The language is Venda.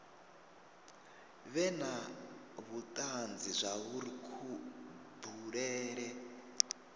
vhe na vhutanzi zwauri kubulele